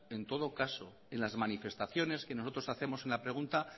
en todo caso en las manifestaciones que nosotros hacemos en la pregunta